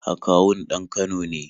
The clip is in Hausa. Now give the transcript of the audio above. Akawun ɗan Kano ne